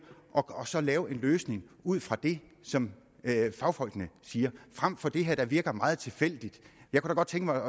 og så lave en løsning ud fra det som fagfolkene siger frem for det her der virker meget tilfældigt jeg kunne godt tænke mig